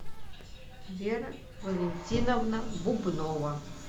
вера валентиновна бубнова